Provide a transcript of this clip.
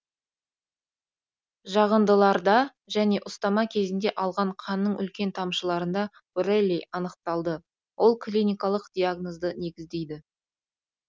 жағындыларда және ұстама кезінде алған қанның үлкен тамшыларында боррелий анықталады ол клиникалық диагнозды негіздейді